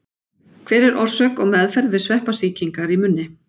Hver er orsök og meðferð við sveppasýkingar í munni?